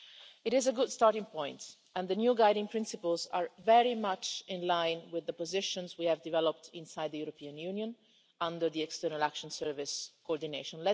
It is a good starting point, and the new guiding principles are very much in line with the positions we have developed inside the European Union under European External Action Service coordination.